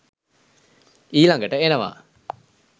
ඊළඟට එනවා